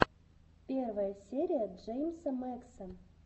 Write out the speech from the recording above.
первая серия джеймса мэкса